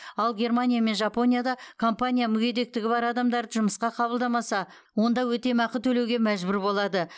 ал германия мен жапонияда компания мүгедектігі бар адамдарды жұмысқа қабылдамаса онда өтемақы төлеуге мәжбүр болады